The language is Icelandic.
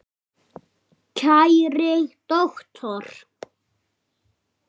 Kæri doktor